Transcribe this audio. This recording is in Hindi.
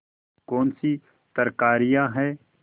कौनसी तरकारियॉँ हैं